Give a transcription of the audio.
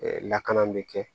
lakana bɛ kɛ